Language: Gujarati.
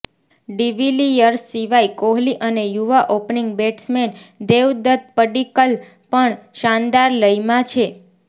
ડિવિલિયર્સ સિવાય કોહલી અને યુવા ઓપનિંગ બેટ્સમેન દેવદત્ત પડીક્કલ પણ શાનદાર લયમાં છે